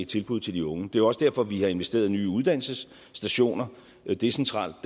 tilbud til de unge det er også derfor at vi har investeret i nye uddannelsesstationer decentralt